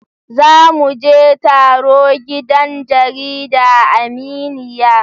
Za mu je taro gidan jarida Aminiya